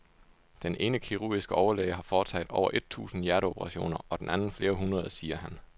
Den ene kirurgiske overlæge har foretaget over et tusind hjerteoperationer og den anden flere hundrede, siger han.